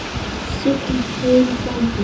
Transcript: Sigl heill frændi.